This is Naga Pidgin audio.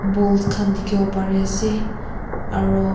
balls kan dikibo pari ase aro.